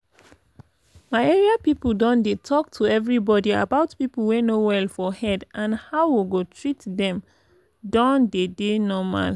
my area people don dey talk to everybody about people wey no well for head and how we go treat them don deydey normal.